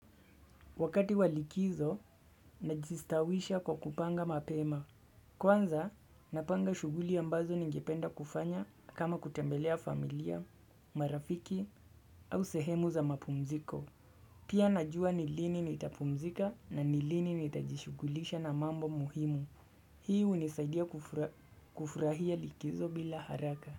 Wakati walikizo najistawisha kwa kupanga mapema. Kwanza napanga shuguli ambazo ningependa kufanya kama kutembelea familia, marafiki au sehemu za mapumziko Pia najua nilini nitapumzika na nilini nitajishugulisha na mambo muhimu Hiu unisaidia kufurahia likizo bila haraka.